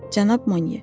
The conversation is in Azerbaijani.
Cənab Monyer.